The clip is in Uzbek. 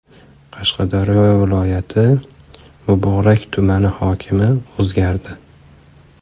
Qashqadaryo viloyati Muborak tumani hokimi o‘zgardi.